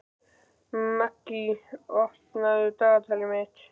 Maggý, opnaðu dagatalið mitt.